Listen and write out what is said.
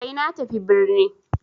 Sai na tafi birni.